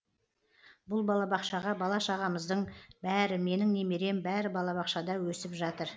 бұл балабақшаға бала шағамыздың бәрі менің немерем бәрі балабақшада өсіватыр